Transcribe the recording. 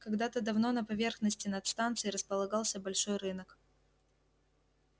когда-то давно на поверхности над станцией располагался большой рынок